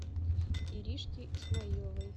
иришке исмаиловой